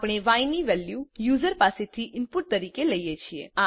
આપણે ય ની વેલ્યુ યુઝર પાસેથી ઈનપુટ તરીકે લઈએ છીએ